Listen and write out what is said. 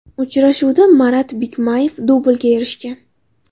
Uchrashuvda Marat Bikmayev dublga erishgan.